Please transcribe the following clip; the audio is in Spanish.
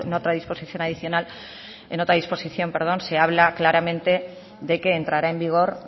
otra disposición se habla claramente de que entrará en vigor